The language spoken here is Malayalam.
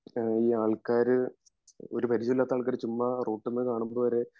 ഈ ആൾക്കാര് ഒരു പരിചയവുമില്ലാത്ത ആൾക്കാര് ചുമ്മാ റോട്ടീന്ന് കാണുന്നതുവരെ